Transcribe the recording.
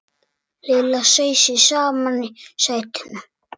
Lilla seig saman í sætinu.